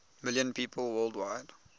million people worldwide